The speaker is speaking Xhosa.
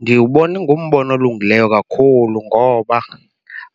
Ndiwubona ingumbono olungileyo kakhulu ngoba